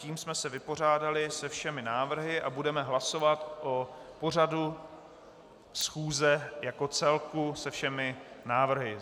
Tím jsme se vypořádali se všemi návrhy a budeme hlasovat o pořadu schůze jako celku se všemi návrhy.